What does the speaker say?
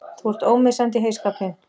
Þú ert ómissandi í heyskapinn!!